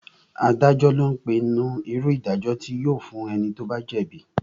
Adájọ́ lo ń pinnu irú ìdájọ́ tí yóò fún ẹni tí ó bá jẹ́ bíi